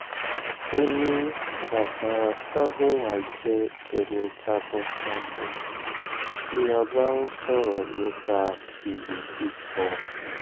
ó ní baba fagunwa jẹ́ ẹni takuntakun tí a bá ń sọ̀rọ̀ nípa ìwé kíkọ